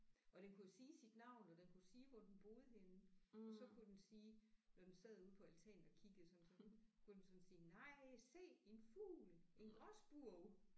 Og den kunne jo sige sit navn og den kunne sige hvor den boede henne og så kunne den sige når den sad ude på altanen og kiggede sådan så kunne den sådan sige nej se en fugl en gråspurv